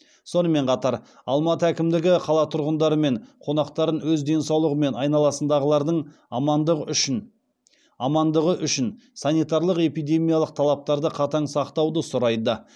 сонымен қатар алматы әкімдігі қала тұрғындары мен қонақтарын өз денсаулығы мен айналасындағылардың амандығы үшін санитарлық эпидемиялық талаптарды қатаң сақтауды сұрайды